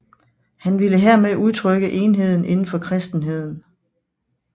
Han ville hermed udtrykke enheden inden for kristenheden